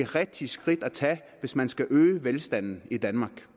rigtige skridt at tage hvis man skal øge velstanden i danmark